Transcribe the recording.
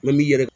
Mɛ n b'i yɛrɛ